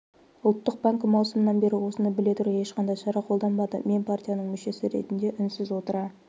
ұлттық банкі маусымнан бері осыны біле тұра ешқандай шара қолданбады мен партияның мүшесі ретінде үнсіз отыра